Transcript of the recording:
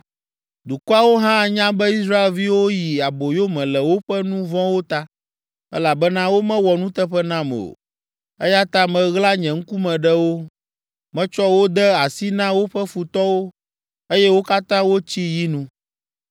Dukɔawo hã anya be Israelviwo yi aboyome le woƒe nu vɔ̃wo ta, elabena womewɔ nuteƒe nam o. Eya ta meɣla nye ŋkume ɖe wo, metsɔ wo de asi na woƒe futɔwo, eye wo katã wotsi yi nu.